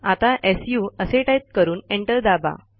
आता सु असे टाईप करून एंटर दाबा